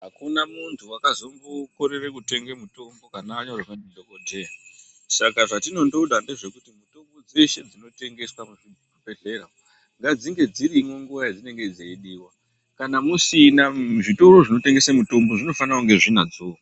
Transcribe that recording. Akuna muntu wakazombokorere kutenga mutombo kana anyorerwa ndidhokoteya saka zvatinondoda ndezvekuti mitombo dzeshe dzinotengeswa muzvibhedhlera ngadzinge dzirimwo nguwa yedzinenge dzeidiwa kana musina zvitoro zvinotengese mitombo zvinofane kunge zvinadzowo.